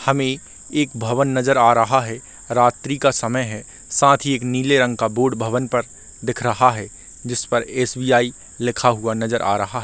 हमे एक भवन नज़र आ रहा है रात्रि का समय है साथ ही एक नीले रंग का बोर्ड भवन पर दिख रहा है जिसपर एस_बी_आई लिखा हुआ नज़र आ रहा है।